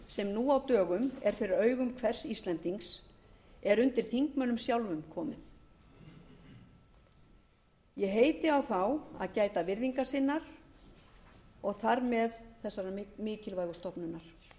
sem nú á dögum er fyrir augum hvers íslendings er undir þingmönnum sjálfum komin ég heiti á þá að gæta virðingar sinnar og þar með þessarar mikilvægu stofnunar